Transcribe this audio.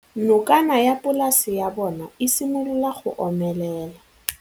Nokana ya polase ya bona, e simolola go omelela.